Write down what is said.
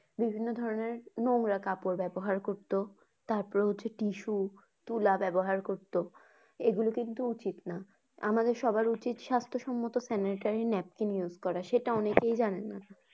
বিভিন্ন ধরনের নোংরা কাপড় ব্যাবহার করতো তারপর হচ্ছে tissue তুলা ব্যাবহার করতো। এগুলো কিন্তু উচিত না। আমাদের সবার উচিত সাস্থ্য সম্মত sanitary napkin use করা সেটা অনেকেই জানেনা